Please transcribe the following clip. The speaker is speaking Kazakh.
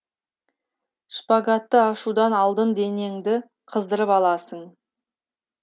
шпагатты ашудан алдын денеңді қыздырып аласын